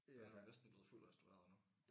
Den er næsten blevet fuldt restaureret nu